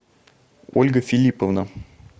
ольга филипповна